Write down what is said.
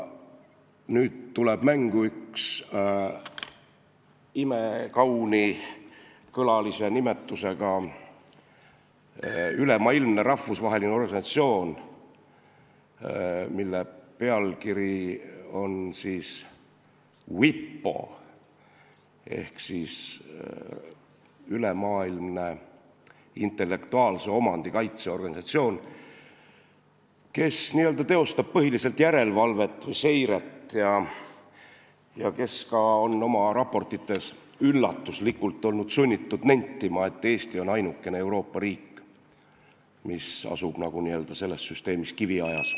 Nüüd tuleb mängu üks imekaunikõlalise nimetusega ülemaailmne rahvusvaheline organisatsioon WIPO ehk Ülemaailmne Intellektuaalse Omandi Organisatsioon, kes põhiliselt teeb järelevalvet või seiret ning on sunnitud ka oma raportites üllatuslikult nentima, et Eesti on ainukene Euroopa riik, mis asub selles süsteemis nagu kiviajas.